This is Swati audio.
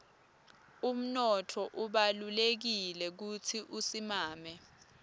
umnotfo ubalulekile kutsi usimame